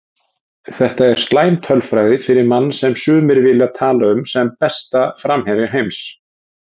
Þetta er slæm tölfræði fyrir mann sem sumir vilja tala um sem besta framherja heims.